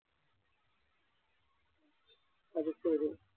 അതുശരി